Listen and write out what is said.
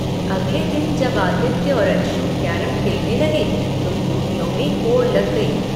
अगले दिन जब आदित्य और अंशु कैरम खेलने लगे तो गोटियों में होड़ लग गई।